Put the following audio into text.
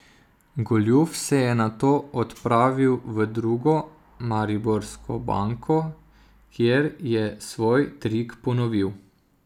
Goljuf se je nato odpravil v drugo mariborsko banko, kjer je svoj trik ponovil.